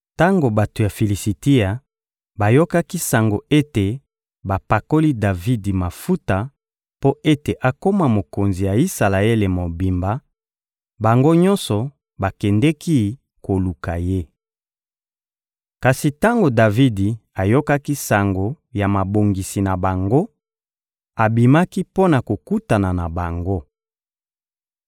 Tango bato ya Filisitia bayokaki sango ete bapakoli Davidi mafuta mpo ete akoma mokonzi ya Isalaele mobimba, bango nyonso bakendeki koluka ye. Kasi tango Davidi ayokaki sango ya mabongisi na bango, abimaki mpo na kokutana na bango.